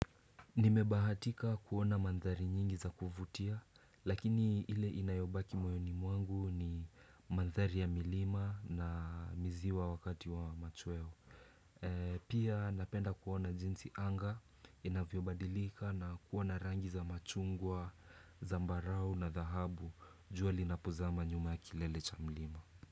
Nimebahatika kuona mandhari nyingi za kuvutia lakini ile inayobaki moyoni mwangu ni mandhari ya milima na miziwa wakati wa machweo Pia napenda kuona jinsi anga inavyobadilika na kuwa na rangi za machungwa zambarau na dhahabu jua linapozama nyuma ya kilele cha mlima.